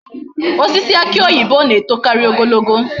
Osisi aki oyibo na etokaari ogologo